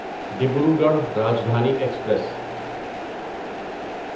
Dibrugarh Rajdhani express